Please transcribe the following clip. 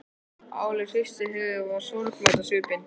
Áslaug hristi höfuðið og var sorgmædd á svipinn.